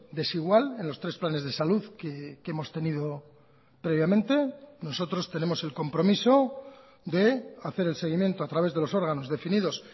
desigual en los tres planes de salud que hemos tenido previamente nosotros tenemos el compromiso de hacer el seguimiento a través de los órganos definidos